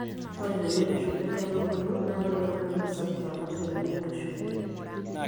Ore teneitushuli nkaitubulu naa keeta oloip sapuk ala tenemeitushuli.